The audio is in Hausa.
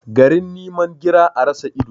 Garin niman gira, a rasa ido.